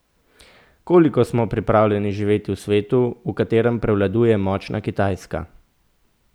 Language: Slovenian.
Koliko smo pripravljeni živeti v svetu, v katerem prevladuje močna Kitajska?